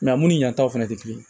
u ni yan taw fɛnɛ tɛ kelen ye